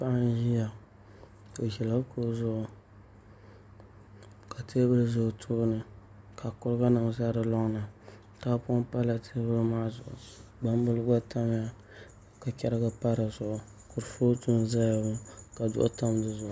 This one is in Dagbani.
Paɣa n ʒiya o ʒila kuɣu zuɣu ka teebuli ʒɛ o tooni ka kuriga nim ʒɛ di loŋni tahapoŋ pala teebuli maa zuɣu gbambili gba tamya ka chɛrigi pa dizuɣu kuripooti n ʒɛya ŋo ka duɣu tam dizuɣu